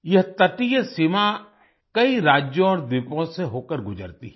यह तटीय सीमा कई राज्यों और द्वीपों से होकर गुजरती है